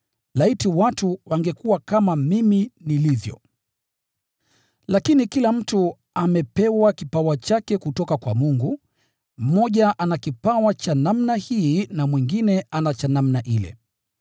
Laiti watu wangekuwa kama mimi nilivyo. Lakini kila mtu amepewa kipawa chake kutoka kwa Mungu, mmoja ana kipawa cha namna hii na mwingine ana cha namna ile.